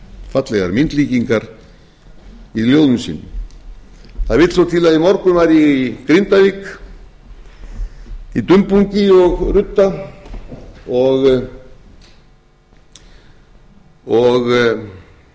fallegar myndlíkingar í ljóðum sínum það vill svo til að í morgun var ég í grindavík í dumbungi og rudda og rigningu þá